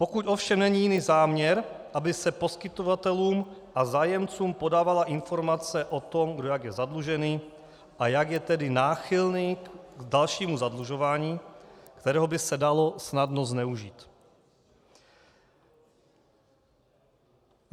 Pokud ovšem není jiný záměr, aby se poskytovatelům a zájemcům podávala informace o tom, kdo jak je zadlužený a jak je tedy náchylný k dalšímu zadlužování, kterého by se dalo snadno zneužít.